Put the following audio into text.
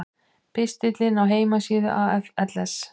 Pistillinn á heimasíðu AFLs